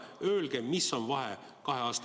Öelge, mis on kahe aasta vahe.